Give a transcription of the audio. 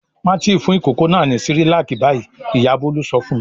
"Má tì fún ìkókó náà ní Cerelac báyìí!" Ìyá Bólú sọ fún un.